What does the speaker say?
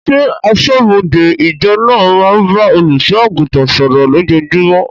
Ṣé aṣọ́bọdè ìjọ naa máa ń bá olùsọ àgùntàn sọ̀rọ̀ lójojúmó?